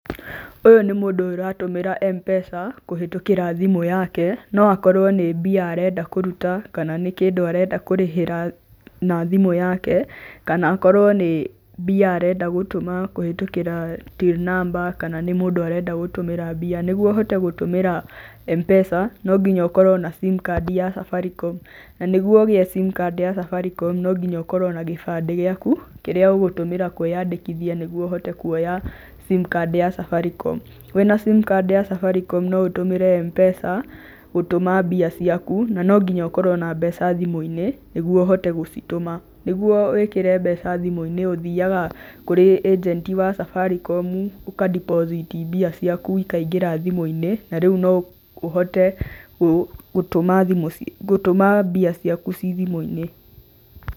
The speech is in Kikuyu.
Ũyũ nĩ mũndũ aratumĩra Mpesa kũhĩtũkĩra thimũ yake noakorwe nĩ mbia arenda kũrũta kana nĩ kĩndũa arenda kũrĩhĩra na thimũ yake kana akorwe nĩ mbia arenda gũtũma kũhĩtũkĩra till number kana nĩ mũndu arenda gũtũmĩra mbia na nĩgũo ũhote gũtũmĩra Mpesa nonginya ũkorwe na sim card yaku ya Safaricom na nĩguo ũgĩe simcard ya Safaricom nonginya ũkorwe na kĩbande gĩaku kĩrĩa ũgũtũmĩra kwĩandikithia nĩguo ũhote kũoya simcard ya Safaricom .Wĩna simard ya Safaricom noũtũmĩre Mpesa gũtũma mbia ciaku na nonginya ũkorwe na mbeca thimũinĩ nĩguo ũhote gũcitũma, nĩgũo wĩkĩre mbeca thimũinĩ ũthiaga kũrĩ agent ya Safaricom ũga deposit mbia ciaku ikaingĩra thimũinĩ na rĩũ noũhote gũtũma mbia ciaku cithimũinĩ.